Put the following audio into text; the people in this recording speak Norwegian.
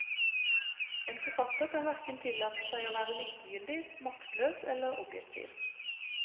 En forfatter kan verken tillate seg å være likegyldig, maktløs eller objektiv.